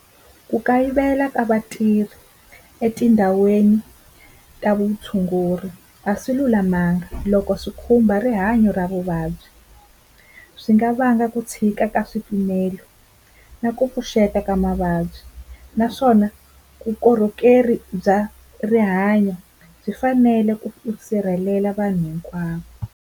Ku kayivela ka vatirhi etindhawini ta vutshunguri a swi lulamanga loko swi khumba rihanyo ra vuvabyi, swi nga vanga ku tshika ka swipimelo na ku pfuxeta ka mavabyi naswona vukorhokeri bya rihanyo byi fanele ku sirhelela vanhu hinkwavo.